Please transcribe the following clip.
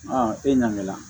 e ɲangi la